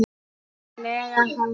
lega hátt.